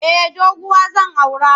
Eh doguwa zan aura.